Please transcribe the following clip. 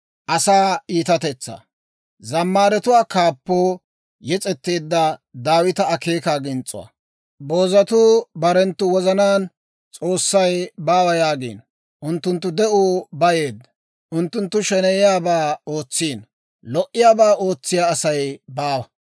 Boozatuu barenttu wozanaan, «S'oossay baawa» yaagiino. Unttunttu de'uu bayeedda. Unttunttu sheneyiyaabaa ootsiino; lo"iyaabaa ootsiyaa Asay baawa.